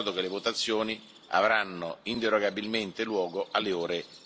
Vi ricordo che le votazioni avranno inderogabilmente luogo alle ore